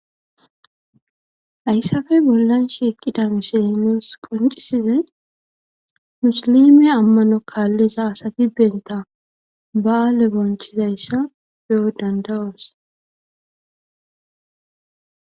Hayssafe bollan shiiqitan senos qoncisizay musilime ammano kaallesa asati benta ba lebonchizayssa yoo dandawos